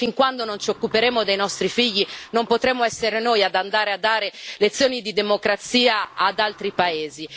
Fin quando non ci occuperemo dei nostri figli, non potremmo essere noi ad andare a dare lezioni di democrazia ad altri paesi.